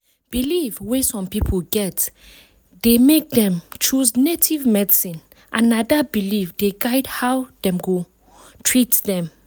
belief wey some people get dey make dem choose native medicine and na dat belief dey guide how dem go treat dem.